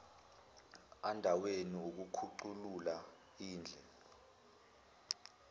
andaweni yokukhuculula indle